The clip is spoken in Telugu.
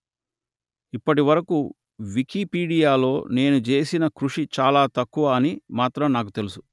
ఇప్పటి వరకు వికీపీడియాలో నేను చేసిన కృషి చాలా తక్కువ అని మాత్రం నాకు తెలుసు